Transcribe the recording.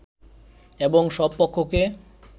এবং সব পক্ষকে